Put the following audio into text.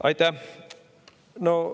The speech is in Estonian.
Aitäh!